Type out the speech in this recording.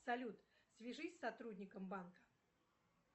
салют свяжись с сотрудником банка